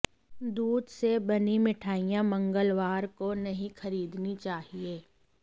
दूध से बनी मिठाइयां मंगलवार को नहीं खरीदनी चाहिए